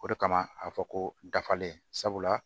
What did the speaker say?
O de kama a bɛ fɔ ko dafalen sabula